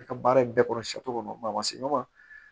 I ka baara in bɛɛ kɔrɔ kɔnɔ ma se ɲɔgɔn ma